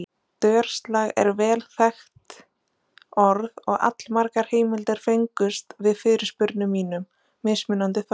Dörslag er vel þekkt orð og allmargar heimildir fengust við fyrirspurnum mínum, mismunandi þó.